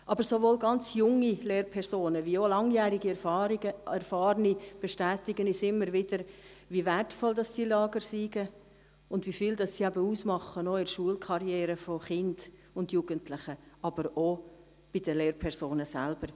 Aber sowohl ganz junge Lehrpersonen als auch Langjährige, Erfahrene bestätigen uns immer wieder, wie wertvoll diese Lager sind und wie viel sie in einer Schulkarriere von Kindern und Jugendlichen ausmachen, aber auch bei den Lehrpersonen selbst.